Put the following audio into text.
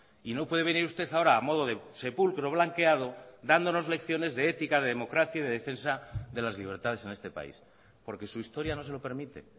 y no puede venir usted ahora a modo de sepulcro blanqueado dándonos lecciones de ética de democracia y de defensa de las libertades en este país porque su historia no se lo permite